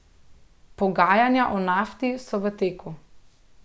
Pogajanja o Nafti so v teku.